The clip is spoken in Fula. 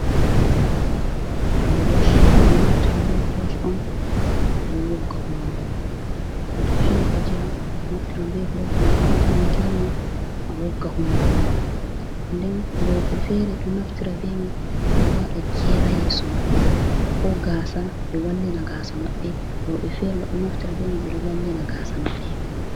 Brosh ɓe ɗo naftira be brosh on ɓe ɗo wogga hunduko to fini fajira, a naftiran bee brosh ma a waata makilin ma a wogga hunnduko ma nden rewɓe feree do naftira be mai ɗo waɗa jeera yeso maɓɓe koo gaasa be wallina gaasa maɓɓe, wroɓe feere ma ɗo naftira bee mai ɓe ɗo wallina gaasa maɓɓe.